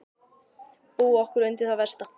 . búa okkur undir það versta.